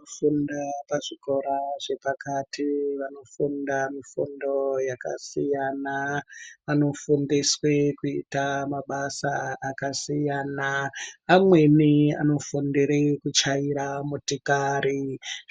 Kufunda pazvikora zvepakati vanofunda mufu do yakasiyana vanofundiswe kuite mabasa akasiyana amweni anofundire kuchaira motikari